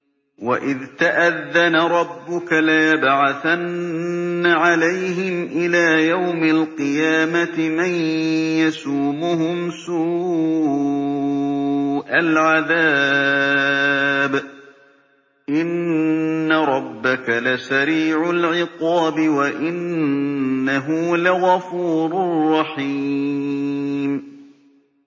وَإِذْ تَأَذَّنَ رَبُّكَ لَيَبْعَثَنَّ عَلَيْهِمْ إِلَىٰ يَوْمِ الْقِيَامَةِ مَن يَسُومُهُمْ سُوءَ الْعَذَابِ ۗ إِنَّ رَبَّكَ لَسَرِيعُ الْعِقَابِ ۖ وَإِنَّهُ لَغَفُورٌ رَّحِيمٌ